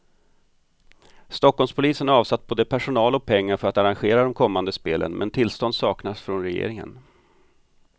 Stockholmspolisen har avsatt både personal och pengar för att arrangera de kommande spelen, men tillstånd saknas från regeringen.